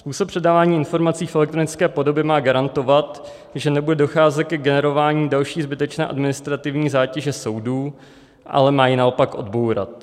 Způsob předávání informací v elektronické podobě má garantovat, že nebude docházet ke generování další zbytečné administrativní zátěže soudů, ale má ji naopak odbourat.